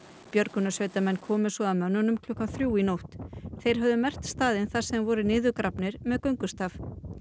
björgunarsveitarmenn komu svo að mönnunum um klukkan þrjú í nótt þeir höfðu merkt staðinn þar sem þeir voru niðurgrafnir með göngustaf